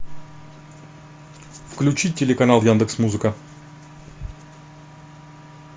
включи телеканал яндекс музыка